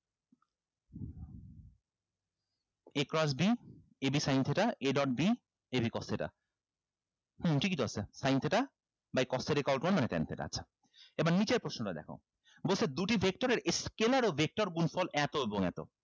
a cross b ab sin theta a dot b ab cos theta um ঠিকিতো আছে sin theta by cos theta equal to one মানে ten theta আচ্ছা এবার নিচের প্রশ্নটা দেখো বলছে দুটি vector এর scalar ও vector গুণফল এতো গুন এতো